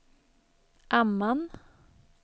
Amman